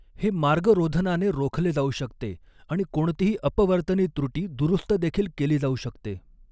हे मार्गरोधनाने रोखले जाऊ शकते आणि कोणतीही अपवर्तनी त्रुटी दुरुस्त देखील केली जाऊ शकते.